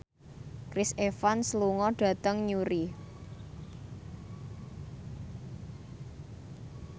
Chris Evans lunga dhateng Newry